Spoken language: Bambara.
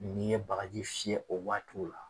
N'i ye bagaji fiyɛ o waatiw la